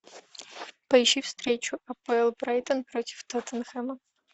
поищи встречу апл брайтон против тоттенхэма